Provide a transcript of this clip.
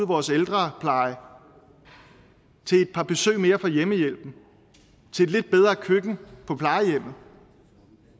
vores ældrepleje til et par besøg mere af hjemmehjælpen til et lidt bedre køkken på plejehjemmet